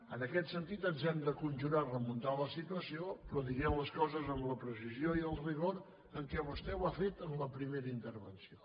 en aquest sentit ens hem de conjurar a remuntar la situació però dient les coses amb la precisió i el rigor amb què vostè ho ha fet en la primera intervenció